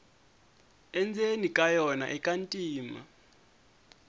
endzeni ka yona ika ntima